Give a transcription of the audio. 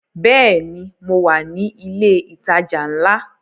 Bẹ́ẹ̀ni, mo wà ní ilẹ̀ ìtajà ńlá